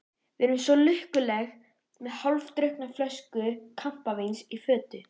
Við erum svo lukkuleg, með hálfdrukkna flösku kampavíns í fötu.